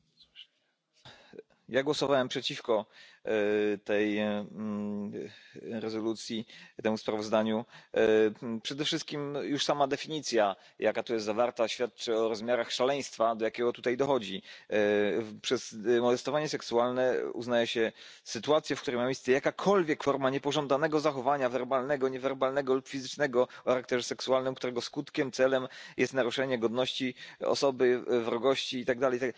Panie Przewodniczący! Ja głosowałem przeciwko temu sprawozdaniu. Przede wszystkim już sama definicja, jaka tu jest zawarta świadczy o rozmiarach szaleństwa do jakiego tutaj dowodzi. Przez molestowanie seksualne uznaje się sytuację, w której ma miejsce jakakolwiek forma niepożądanego zachowania werbalnego, niewerbalnego lub fizycznego o charakterze seksualnym, którego skutkiem, celem jest naruszenie godności osoby, wrogości i tak dalej.